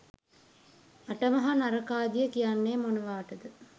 අට මහා නරකාදිය කියන්නේ මොනවාටද?